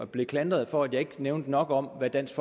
blev klandret for at jeg ikke nævnte nok om hvad dansk